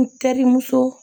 N terimuso